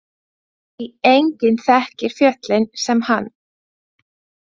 Því enginn þekkir fjöllin sem hann.